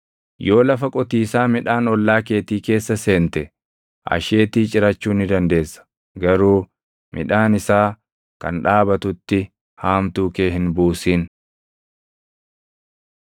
Yoo lafa qotiisaa midhaan ollaa keetii keessa seente, asheetii cirachuu ni dandeessa; garuu midhaan isaa kan dhaabatutti haamtuu kee hin buusin.